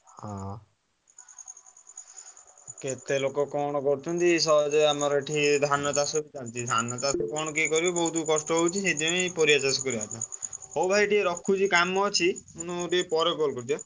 ହଁ କେତେ ଲୋକ କଣ କରୁଛନ୍ତି ସହଜେ ଆମର ଏଠି ଧାନ ଧାନ ଚାଷ କଣ କିଏ କରିବ ବୋହୁତ କଷ୍ଟ ହଉଛି ସେଇଠି ପାଇଁ ପରିବା ଚାଷ କରିବ କଥା ହଉ ଭାଇ ମୁଁ ଟିକେ ରଖୁଛି କାମ ଅଛି ପରେ call କରୁଛି ହାଁ।